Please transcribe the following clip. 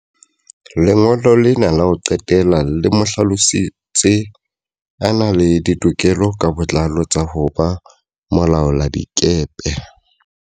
Lengolo lena la ho qetela le mo hlalositse a na le ditokelo ka botlalo tsa ho ba molaoladikepe.